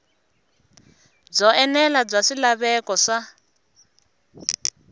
byo enela bya swilaveko swa